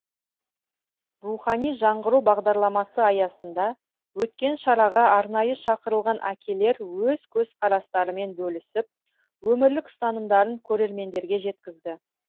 рухани жаңғыру бағдарламасы аясында өткен шараға арнайы шақырылған әкелер өз көзқарастарымен бөлісіп өмірлік ұстанымдарын көрермендерге жеткізді